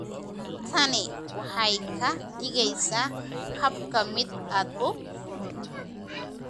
Tani waxay ka dhigaysaa habka mid aad u fudud.